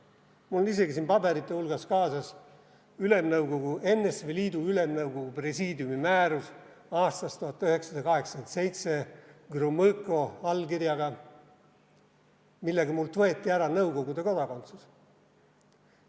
Mul on isegi siin paberite hulgas kaasas NSV Liidu Ülemnõukogu Presiidiumi määrus aastast 1987, Gromõko allkirjaga, millega mult võeti ära Nõukogude kodakondsus.